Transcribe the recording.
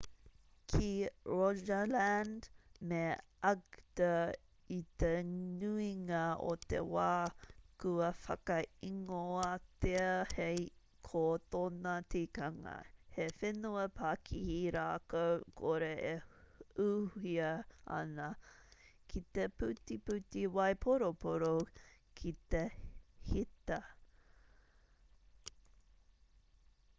ki rogaland me agder i te nuinga o te wā kua whakaingoatia hei ko tōna tikanga he whenua pakihi rākau kore e ūhia ana ki te putiputi waiporoporo ki te heta